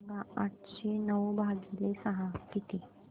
सांगा आठशे नऊ भागीले सहा किती